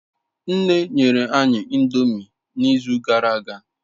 Nne nyere anyi ndomi n'izu uka gara aga